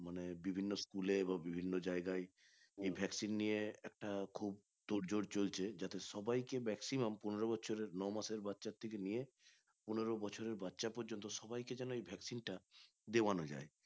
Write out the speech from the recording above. মানে বিভিন্ন school এ বা বিভিন্ন জায়গায় এই vaccine নিয়ে একটা খুব তোড়জোড় চলছে যাতে সবাইকে vaccine পনেরো বছরের ন মাসের বাচ্চার থেকে নিয়ে পনেরো বছরের বাচ্চা পর্যন্ত সবাইকে যেন এই vaccine টা দেওয়ানো যাই